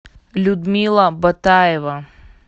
людмила батаева